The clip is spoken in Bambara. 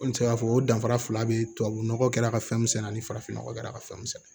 Ko n bɛ se k'a fɔ o danfara fila bɛ tubabu nɔgɔ kɛra ka fɛn misɛnna ni farafin nɔgɔ kɛra ka fɛn misɛn